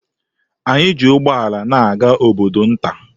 Anyị ji ụgbọala na-aga obodo nta.